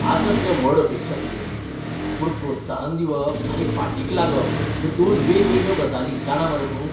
आसत रे व्हड अपेक्षा तुगेली, पूण प्रोत्साहन दिवप आनी फाटीक लागप ह्यो दोन वेगवेगळ्यो गजाली, जाणा मरे तूं?